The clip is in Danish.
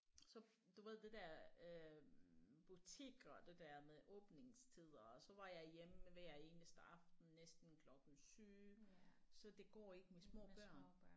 Så du ved det der øh butikker det der med åbningstider og så var jeg hjemme hver eneste aften næsten klokken 7 så det går ikke med små børn